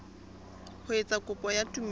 ho etsa kopo ya tumello